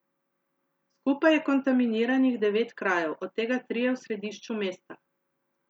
Skupaj je kontaminiranih devet krajev, od tega trije v središču mesta.